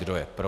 Kdo je pro?